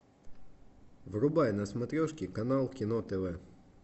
врубай на смотрешке канал кино тв